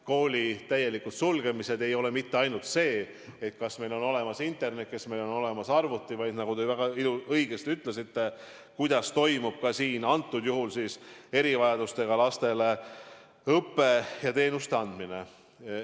Koolide täielik sulgemine ei puuduta mitte ainult seda, kas meil on olemas internet ja kas meil on olemas arvuti, vaid – nagu te väga õigesti ütlesite – ka seda, kuidas toimub antud juhul erivajadustega laste õpetamine ja neile teenuste andmine.